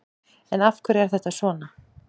En af hverju er þetta svona?